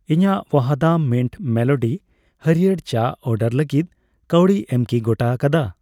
ᱤᱧᱟᱹᱜ ᱵᱟᱦᱚᱫᱟᱢ mint melody ᱦᱟᱲᱭᱟᱹᱨ ᱪᱟ ᱚᱰᱟᱨ ᱞᱟᱹᱜᱤᱫ ᱠᱟᱹᱣᱰᱤ ᱮᱢ ᱠᱤ ᱜᱚᱴᱟ ᱟᱠᱟᱫᱟ ?